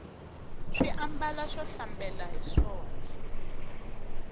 swi ambala swo hlambela hiswona